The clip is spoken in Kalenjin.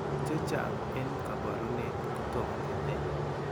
Chechaang' en kabarunet kotomkenai.